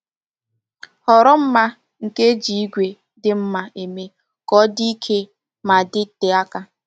Họrọ mma nke eji ígwè dị mma eme ka ọ dị ike ma dịte aka.”